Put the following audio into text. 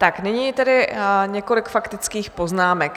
Tak nyní tedy několik faktických poznámek.